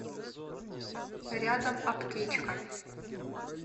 рядом аптечка